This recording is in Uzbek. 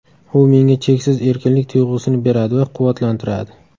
U menga cheksiz erkinlik tuyg‘usini beradi va quvvatlantiradi.